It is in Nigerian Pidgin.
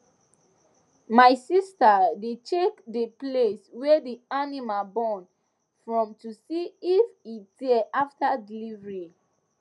my sister dey check the place wey the animal born from to see if e tear after delivery